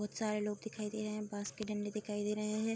बहुत सारे लोग दिखाई दे रहे है बाँस के डण्डे दिखाई दे रहे है।